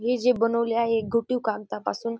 हे जे बनवले आहेत घोटीव कागदापासून--